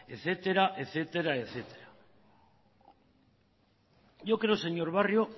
etcétera yo creo señor barrio